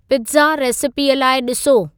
pizza रेसेपीअ लाइ ॾिसो